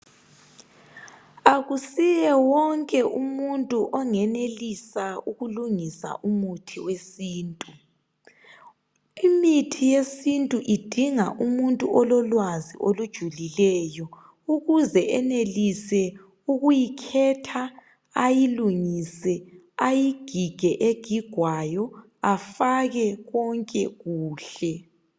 Akusiye wonke umuntu ongenelisa ukulungisa umuthi wesintu. Imithi yesintu idinga umuntu ololwazi olujulileyo ukuze enelise ukuyikhetha, ayilungise ayigige egigwayo afake konke kuhle.